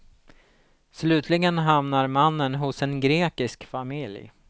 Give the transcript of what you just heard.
Slutligen hamnar mannen hos en grekisk familj.